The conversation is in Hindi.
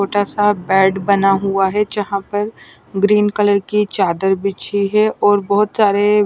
छोटा सा बेड बना हुआ है जहां पर ग्रीन कलर की चादर बिछी है और बहोत सारे--